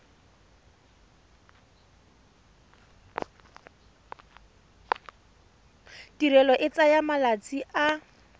tirelo e tsaya malatsi a